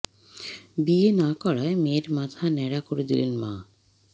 বিয়ে না করায় মেয়ের মাথা ন্যাড়া করে দিলেন মা